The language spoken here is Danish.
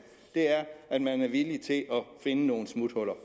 at man er villig til at finde nogle smuthuller